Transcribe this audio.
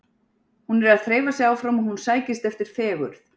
Hún er að þreifa sig áfram og hún sækist eftir fegurð.